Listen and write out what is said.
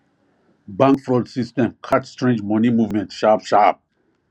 bank fraud system catch strange money movement sharp sharp